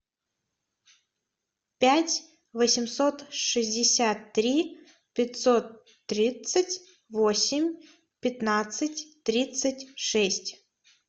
пять восемьсот шестьдесят три пятьсот тридцать восемь пятнадцать тридцать шесть